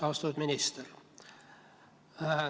Austatud minister!